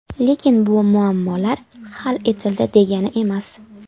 Lekin bu muammolar hal etildi degani emas.